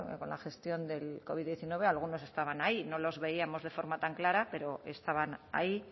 con la gestión del covid hemeretzi algunos estaban ahí no los veíamos de forma tan clara pero estaban ahí